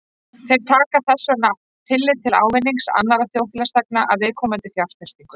Þeir taka þess vegna ekki tillit til ávinnings annarra þjóðfélagsþegna af viðkomandi fjárfestingu.